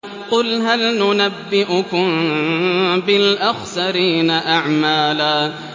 قُلْ هَلْ نُنَبِّئُكُم بِالْأَخْسَرِينَ أَعْمَالًا